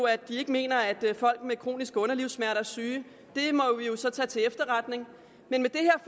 at de ikke mener at folk med kroniske underlivssmerter er syge og så tage til efterretning men med det her